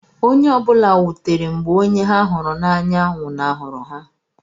Onye ọ bụla wutere mgbe onye ha hụrụ n’anya nwụnahụrụ ha.